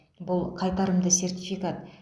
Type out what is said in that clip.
бұл қайтарымды сертификат